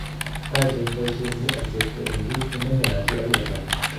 Haji eng boisienyii ak chepto eng kit nemengen Haji okoi kasari.